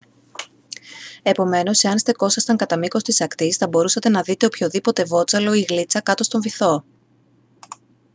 επομένως εάν στεκόσασταν κατά μήκος της ακτής θα μπορούσατε να δείτε οποιοδήποτε βότσαλο ή γλίτσα κάτω στον βυθό